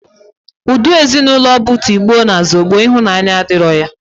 Udi Ezinụlọ bu tigbo na zogbo, ihunanya adiro ya.